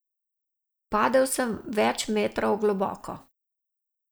Padel sem več metrov globoko.